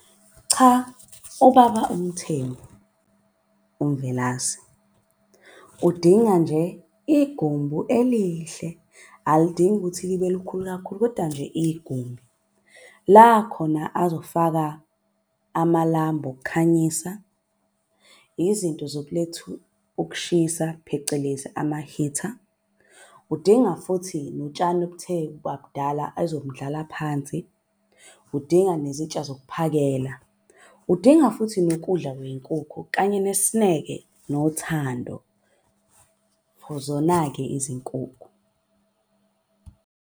Cha ubaba uMthembu uMvelase udinga nje igumbu elihle alidingi ukuthi libe likhulu kakhulu, koda nje igumbi. La khona azofaka amalambu okukhanyisa izinto zokulethu ukushisa phecelezi ama-heater. Udinga futhi notshani obuthe ukuba budala azobundlala phansi. Udinga nezintsha zokuphakela, udinga futhi nokudla kwey'nkukhu kanye nesineke nothando for zona-ke izinkukhu.